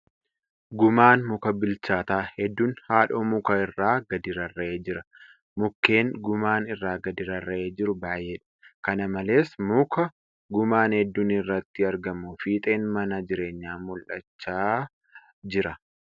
Gumaan mukaa bilchaataa hedduun haadhoo mukaa irraa gadi rarra'ee jira. Mukkeen gumaan irraa gadi rarra'ee jiru baay'eedha. Kana malees ,muka gumaan hedduun irratti argamu fiixeen mana jireenyaa mul'achaa jira .